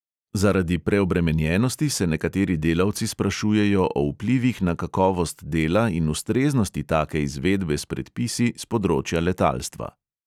Zaradi preobremenjenosti se nekateri delavci sprašujejo o vplivih na kakovost dela in ustreznosti take izvedbe s predpisi s področja letalstva.